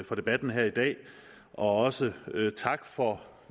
for debatten her i dag også tak for